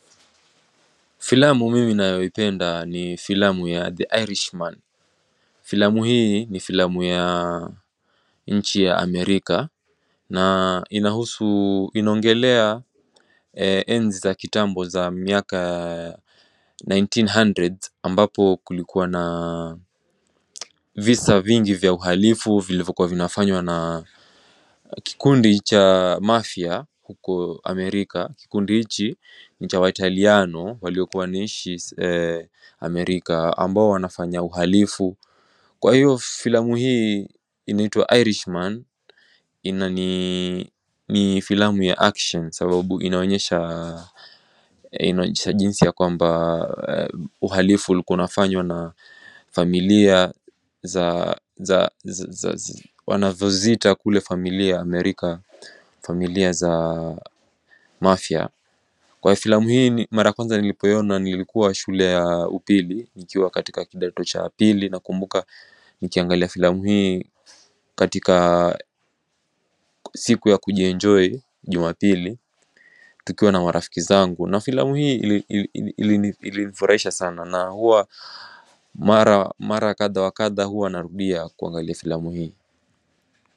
Filamu mimi ninayoipenda ni filamu ya The Irishman Filamu hii ni filamu ya nchi ya America na inahusu, inaongelelea enzi za kitambu za miaka ya 1900s ambapo kulikuwa na visa vingi vya uharifu vilivyo kuwa vinafanywa na Kikundi cha mafia huko Amerika, kikundi hichi nicha waitaliano waliokuwa wanaishi Amerika ambao wanafanya uhalifu Kwa hiyo filamu hii inaitwa Irishman inani ni filamu ya action sababu inaonyesha Jinsi yakwamba uhalifu ulikuwa unafanywa na familia za wanavyoziita kule familia Amerika familia za mafia Kwa filamu hii mara kwanza nilipoiona nilikuwa shule ya upili nikiwa katika kidato cha pili nakumbuka nikiangalia filamu hii katika siku ya kujienjoy jumapili Tukiwa na marafiki zangu na filamu hii ilinifurahisha sana na huwa Mara kadha wa kadha huwa narudia kuangalia filamu hii.